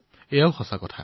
এয়া সত্য কথা